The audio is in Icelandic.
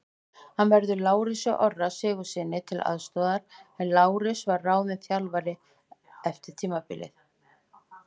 Hann verður Lárusi Orra Sigurðssyni til aðstoðar en Lárus var ráðinn þjálfari eftir tímabilið.